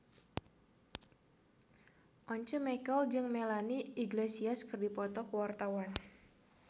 Once Mekel jeung Melanie Iglesias keur dipoto ku wartawan